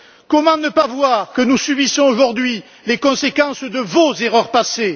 Comment ne pas voir que nous subissons, aujourd'hui, les conséquences de vos erreurs passées?